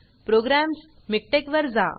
programs MikTeXमिकटेक वर जा